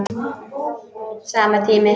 Sami tími.